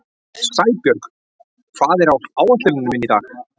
Sæbjörg, hvað er á áætluninni minni í dag?